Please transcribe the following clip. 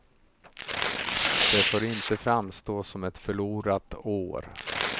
Det får inte framstå som ett förlorat år.